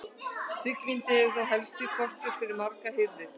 Trygglyndi hefur þótt helsti kostur við margar hirðir.